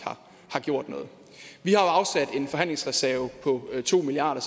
har gjort noget vi har jo afsat en forhandlingsreserve på to milliard